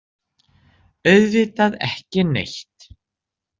Auðvitað ekki neitt.